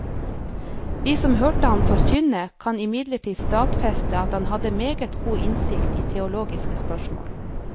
Vi som hørte ham forkynne, kan imidlertid stadfeste at han hadde meget god innsikt i teologiske spørsmål.